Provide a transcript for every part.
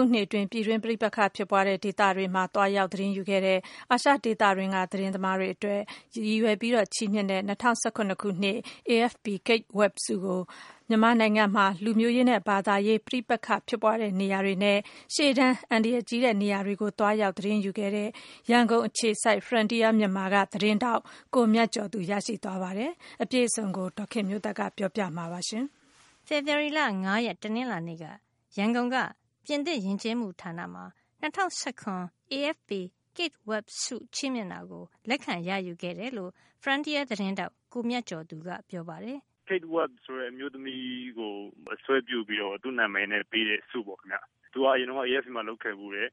ုနှစ်အတွင်း ပြည်တွင်းပဋိပက္ခဖြစ်ပွါးတဲ့ နေရာတွေမှာ သွားရောက်သတင်းယူတဲ့ အာရှဒေသတွင်းက သတင်းသမားတွေ အတွက် ရည်ရွယ်ပြီးချီးမြှင့်တဲ့ “၂၀၁၇ AFP Kate Webb ဆု” ကို မြန်မာနိုင်ငံမှာ လူမျိုးရေးနဲ့ ဘာသာရေး ပဋိပက္ခဖြစ်ပွါးတဲ့ နေရာတွေနဲ့ ရှေ့တန်းအန္တရာယ်ကြီးတဲ့ နေရာတွေကို သွားရောက်သတင်းယူခဲ့တဲ့ ရန်ကုန်အခြေစိုက် Frontier မြန်မာ သတင်းဌာနက သတင်းထောက် ကိုမြတ်ကျော်သူ ရရှိသွားပါတယ်။ အပြည့်အစုံကို ဒေါ်ခင်မျိုးသက်က ပြောပြပေးမှာပါ။ ဖေဖေါ်ဝါရီလ ၅ ရက် တနင်္လာနေ့မှာ ရန်ကုန်- ပြင်သစ်ယဉ်ကျေးမှုဌာန French Institute မှာ ၂၀၁၇ AFP Kate Webb ဆု ချီးမြှင့်မှုကို လက်ခံ ရယူ ခဲ့တယ်လို့ Frontier သတင်းထောက်ကိုမြတ်ကျော်သူက ပြောပါတယ်။ " Kate Webb ဆိုတဲ့ အမျိုးသမီးကို အစွဲပြုပြီးတော့ သူ့နာမည်နဲ့ ပေးတဲ့ ဆုပေါ့ခင်ဗျ။ သူက အရင်တုန်းက AFP မှာ လုပ်ခဲ့ဖူးတယ်။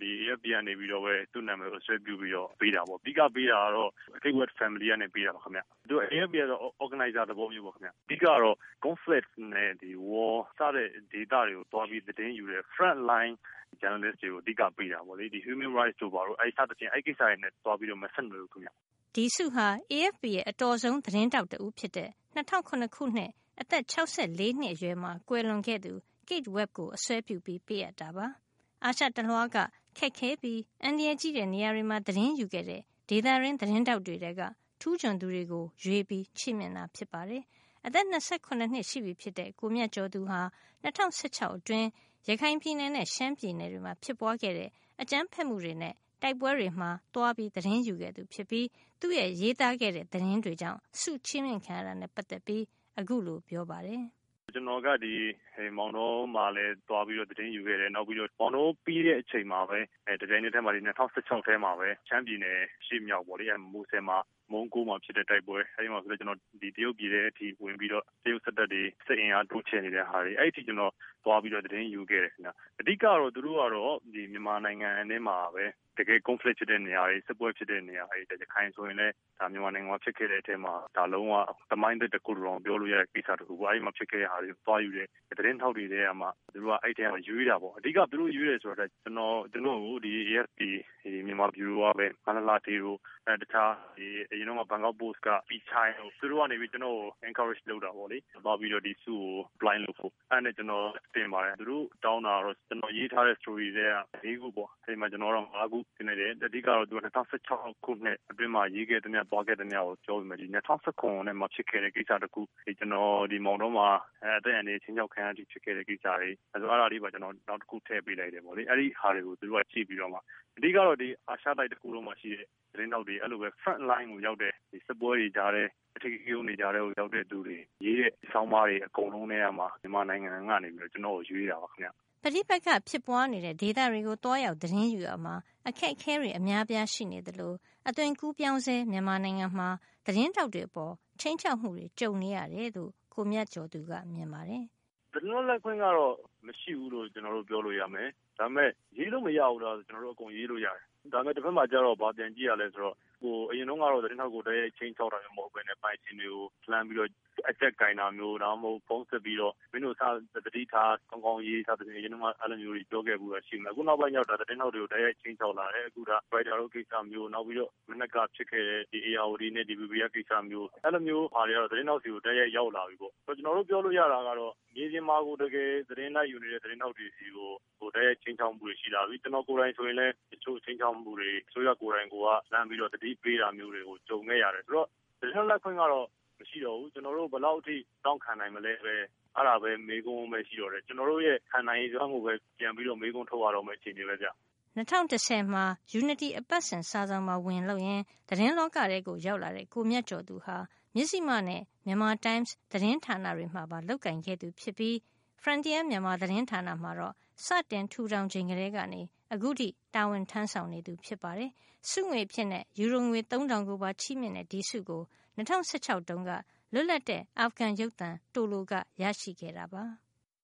ဒီ AFP ကနေပြီးတော့ သူ့နာမည်ကို စွဲပြုပြီးတော့ ပေးတာပေါ့ ။ အဓိကပေးတာကတော့ Kate Webb Family ကနေ ပေးတာပါခင်ဗျ။ AFP ကတော့ Organizer သဘောမျိုးပေါ့ခင်ဗျ ။ အဓိကတော့ Conflict နဲ့ War စတဲ့ ဒေသတွေကို သွားသတင်းယူတဲ့ Front line Journalist တွေကို အဓိကပေးတာပေါ့လေ။ Human Rights တိုဘာတို့ စတဲ့ ကိစ္စတွေနဲ့ တော့ မဆက်နွယ်ဘူးခင်ဗျ။" ဒီဆုဟာ AFP ရဲ့ အတော်ဆုံး သတင်းထောက်တဦးဖြစ်တဲ့ ၂၀၀၇ ခုနှစ် အသက် ၆၄ နှစ်အရွယ်မှာ ကွယ်လွန်ခဲ့သူ Kate Webb ကို အစွဲပြုပေးအပ်တာပါ။ အာရှတလွှားက ခက်ခဲပြီး အန္တရာယ်ကြီးတဲ့ နေရာတွေမှာသတင်းယူတဲ့ ဒေသတွင်းသတင်းထောက်တွေထဲက ထူးချွန်သူတွေကို ရွေးပြီးပေးတာ ဖြစ်ပါတယ်။ အသက် ၂၇ နှစ်ရှိပြီဖြစ်တဲ့ ကိုမြတ်ကျော်ဟာ ၂၀၁၆ အတွင်း ရခိုင်ပြည်နယ်နဲ့ ရှမ်းပြည်နယ်တွေမှာ ဖြစ်ပွါးတဲ့ အကြမ်းဖက်မှုတွေနဲ့ တိုက်ပွဲတွေမှာ သတင်းသွားယူခဲ့သူ ဖြစ်ပြီး သူရေးသားခဲ့တဲ့ သတင်းတွေကြောင့် ဆုချီးမြှင့်ခံရတာနဲ့ ပတ်သက်ပြီး အခုလို ပြောပါတယ်။ "ကျနေ်ာကဒီ မောင်တောမှာလည်း သွားပြီးတော့ သတင်းယူခဲ့တယ်။ မောင်တောပြီးတဲ့အချိန်မှာပဲ တပြိုင်နက်ထဲမှာ ၂၀၁၆ ထဲမှာပဲ ရှမ်းပြည်နယ် မူဆယ် မှာ မုန်းကိုးမှာ ဖြစ်တယ် ။ အဲဒီမှာဆိုရင်လည်း ကျနော်တရုတ်ပြည် ထဲမှာ ဝင်ပြီးတော့ တရုတ်စစ်တပ်တွေ စစ်အင်အားတိုးချဲ့နေတဲ့ ဟာတွေ အဲဒီအထိ ကျနော်သွားပြီးတော့ သတင်းယူခဲ့တယ်ခင်ဗျ။ အဓိကတော့ သူတို့ကတော့ မြန်မာနိုင်ငံထဲမှာ တကယ့် Conflict ဖြစ်တဲ့နေရာတွေ စစ်ပွဲတွေ ဖြစ်တဲ့နေရာတွေ၊ ရခိုင်ဆိုရင်လည်း မြန်မာနိုင်ငံမှာ ဖြစ်ခဲ့တဲ့အထဲမှာ ဒါလုံး၀ သမိုင်းတွင်လို့တောင်ပြောလို့ရတယ် အဲဒီမှာ ဖြစ်ခဲ့တဲ့နေရာမှာ သွားယူတဲ့ သတင်းထောက်တွေထဲကမှ သူတို့ ရွေးတာပေါ့ ။ အဓိကတော့ သူတို့ရွေးတယ်ဆိုတာက ကျနော် သူတို့ကို AFP မြန်မာ ဗျူရိုက မလှလှဌေး နဲ့ အရင်က ဘန်ကောက်ပိုစ့်က ပီချိုင်းတို့ ကျနော်ကို Encourage လုပ်တာပေါ့။ ဆုကို apply လုပ်ဖို့ အဲဒါနဲ့ ကျနော် တင်ပါတယ်။ တောင်းတာကတော့ ကျနော်ရေးထားတဲ့ Story ထဲက ၄ ခုတောင်းတယ် ကျနော်ကတော့ ၅ ခုတင်လိုက်တယ်။ အဓိကတော့ ၂၀၁၆ ခုထဲမှာ ရေးခဲ့သမျှ သွားခဲ့သမျှကိုပြောပေမယ့် ၂၀၁၇ ထဲမှာ ဖြစ်ခဲ့တဲ့ ကိစ္စတခုကို ကျနော် မောင်တောမှ အသက်အန္တရာယ်ခြိမ်းခြောက်ခံရတဲ့အထိ အဲဒီ Case တွေ အဲဒါလေးပါ ကျနော် နောက်တခု ထည့်ပေးလိုက်တယ်။ အဲဒါကို သူတို့ကြည့်ပြီးတော့ အဓိကတော့ ဒီ အာရှတိုက် သတင်းထောက်တွေ Front Line ကိုရောက်တဲ့ စစ်ပွဲ အဓိကရုဏ်း တွေကြားထဲမှာ လုပ်တဲ့သူတွေ ရေးတဲ့ ဆောင်းပါးတွေ အကုန်လုံးကမှ မြန်မာနိုင်ငံကနေ ကျနေ်ာကို ရွေးတာပါခင်ဗျ။" ပဋိပက္ခဖြစ်ပွါးနေတဲ့ဒေသတွေကို သွားရောက်သတင်းယူရာမှာ အခက်အခဲတွေ အများအပြား ရှိနေသလို အသွင်ကူးပြောင်းဆဲ မြန်မာနိုင်ငံမှာ သတင်းထောက်တွေအပေါ် ခြိမ်းခြောက်မှုတွေ ကြုံနေရတယ်လို့ ကိုမြတ်ကျော်သူက ပြောပါတယ်။ "သတင်းလွတ်လပ်ခွင့်ကတော့ မရှိဘူးလို့ ပြောလို့ရမယ်။ ဒါပေမယ့် ရေးလို့မရဘူးလားဆိုတော့ ကျနော်တို့ အကုန်ရေးလို့ရတယ်။ ဒါပေမယ့်ကျနေ်ာတို့ ဘာပြန်ကြည့်ရသလဲဆိုတော့ အရင်တုန်းကတော့ သတင်းထောက်ကို တိုက်ရိုက်ခြိမ်းခြောက်တာမျိုး မဟုတ်ပဲနဲ့ ပိုင်ရှင်တွေကို လှမ်းပြီးတော့ အကျပ်ကိုင်တာမျိုး ၊ ဖုန်းဆက်ပြီးတော့ မင်းတို့စပြီး သတိထား ၊ စာကောင်းကောင်းရေးဆိုပြီးတော့ အရင်တုန်းကတော့ အဲလိုမျိုးတွေ ပြောခဲ့ဖူးတယ်။ အခုနောက်ပိုင်းကတော့ သတင်းထောက်တွေကို တိုက်ရိုက်ခြိမ်းခြောက်လာတယ်။ Reuters လိုကိစ္စမျိုး ၊ မနက်က ဖြစ်ခဲ့တဲ့ ဧရာဝတီနဲ့ DBV ကကိစ၊္စ အဲလိုမျိုး ဟာတွေ ကတော့ သတင်းထောက်တွေကို တိုက်ရိုက်ရောက်လာပြီပေါ့နော်။ ကျနော်တို့ပြောလို့ရတာက မြေပြင်မှာကို တကယ် သတင်းလိုက်ယူနေတဲ့ သတင်းထောက်တွေ ဆီကို ခြိမ်းခြောက်မှုတွေ ရှိလာပြီ ။ ကျနော်ကိုယ်တိုင် ဆိုရင်လည်း ခြိမ်းခြောက်မှုတွေ အစိုးရကိုယ်တိုင်က လှမ်းပြီးတော့ သတိပေးတာတွေကို ကြုံခဲ့ရတယ်။ ဆိုတော့ သတင်းလွတ်လပ်ခွင့်ကတော့ မရှိတော့ဘူး။ ကျနော်တို့ ဘယ်လောက်တောင့်ခံမလဲဆိုတဲ့ မေးခွန်းပဲရှိတော့တယ်။ ကျနော်တို့ရဲ့ ခံနိုင်ရည်စွမ်း ကိုပဲ ပြန်ပြီးတော့ မေးခွန်းထုတ်ရမယ့် အခြေအနေပဲဗျ။" ၂၀၁၀ မှာ ယူနတီ အပတ်စဉ် စာစောင်မှာ ဝင်လုပ်ရင်း သတင်းလောကထဲ ရောက်လာတဲ့ ကိုမြတ်ကျော်သူဟာ မဉ္ဖိမနဲ့ မြန်မာတိုင်းမ်စ် သတင်းဌာန တွေမှာပါ လုပ်ကိုင်ခဲ့သူဖြစ်ပြီး Frontier မြန်မာသတင်းဌာနမှာတော့ စတင်ထူထောင်ချိန်ကတည်းကနေ အခုထိ တာဝန်ထမ်းဆောင် နေသူ ဖြစ်ပါတယ်။ ဆုငွေအဖြစ် ယူရိုငွေ သုံးထောင်ကိုပါချီးမြှင့်တဲ့ ဒီဆုကို ၂၀၁၆ တုန်းက လွတ်လပ်တဲ့ အာဖဂန်ရုပ်သံ Tolo ကရရှိခဲ့တာပါ။